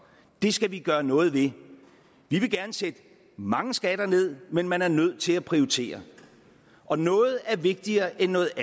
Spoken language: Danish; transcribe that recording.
det skal vi gøre noget ved vi vil gerne sætte mange skatter ned men man er nødt til at prioritere og noget er vigtigere end noget